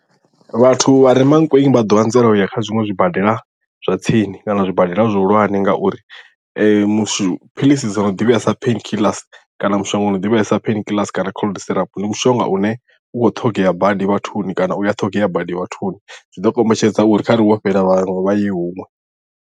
Vhathu vhare Mankweng vha ḓo anzela u ya kha zwiṅwe zwibadela zwa tsini kana zwibadela zwihulwane ngauri mushumi philisi dzo no ḓivhea sa pain killers kana mushonga u no ḓivhea sa pain killers kana cold syrup ndi mushonga une u kho ṱhogea badi vhathuni kana u ya ṱhogea badi vhathuni zwi ḓo kombetshedza uri khare wo fhela vhaṅwe vha ye huṅwe.